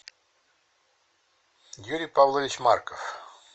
юрий павлович марков